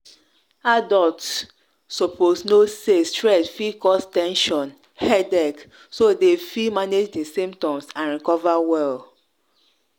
adults suppose know say stress fit cause ten sion headache so dem fit manage di symptoms and recover well.